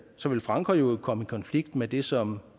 så vil frankrig jo komme i konflikt med det som